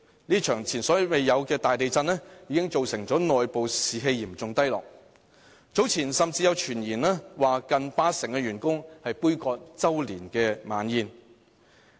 這場前所未有的大地震，已造成內部士氣嚴重低落，早前甚至有傳言指有近八成員工杯葛周年晚宴。